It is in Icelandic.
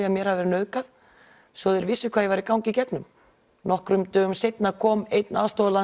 að mér hafi verið nauðgað svo þeir vissu hvað ég væri að ganga í gegnum nokkrum dögum seinna kom einn